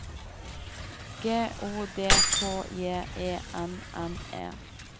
G O D K J E N N E